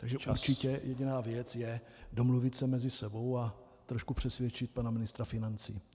Takže určitě jediná věc je domluvit se mezi sebou a trošku přesvědčit pana ministra financí.